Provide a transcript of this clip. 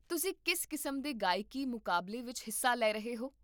ਤੁਸੀਂ ਕਿਸ ਕਿਸਮ ਦੇ ਗਾਇਕੀ ਮੁਕਾਬਲੇ ਵਿੱਚ ਹਿੱਸਾ ਲੈ ਰਹੇ ਹੋ?